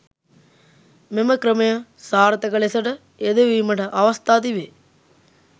මෙම ක්‍රමය සාර්ථක ලෙසට යෙදවීමට අවස්ථා තිබේ.